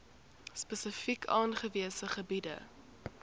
spesifiek aangewese gebiede